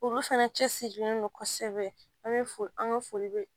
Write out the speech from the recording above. Olu fɛnɛ cɛsirilen don kosɛbɛ an bɛ fo an ka foli bɛ